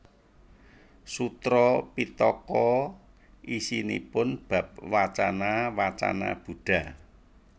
Sutra Pittaka isinipun bab wacana wacana Buddha